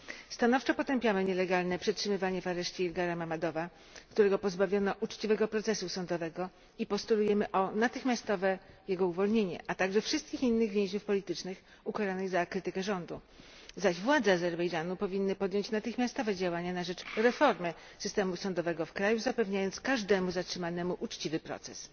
Stanowczo potępiamy nielegalne przetrzymywanie w areszcie Ilgara Mammadowa, którego pozbawiono uczciwego procesu sądowego, i postulujemy o natychmiastowe jego uwolnienie, a także wszystkich innych więźniów politycznych, ukaranych za krytykę rządu, zaś władze Azerbejdżanu powinny podjąć natychmiastowe działania na rzecz reformy systemu sądowego w kraju, zapewniając każdemu zatrzymanemu uczciwy proces.